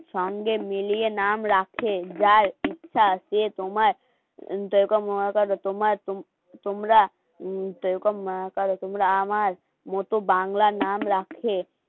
সঙ্গে মিলিয়ে নাম রাখেন যার ইচ্ছা সে তোমায় মনে করো তোমার তোমরা তোমরা াআমার মো বাংলা নামে রাখে